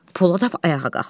Poladov ayağa qalxdı.